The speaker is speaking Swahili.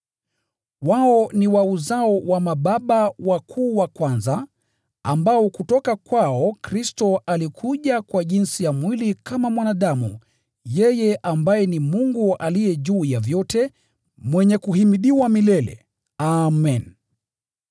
Wao ni wa uzao wa mababa wakuu wa kwanza, ambao kutoka kwao Kristo alikuja kwa jinsi ya mwili kama mwanadamu, yeye ambaye ni Mungu aliye juu ya vyote, mwenye kuhimidiwa milele! Amen.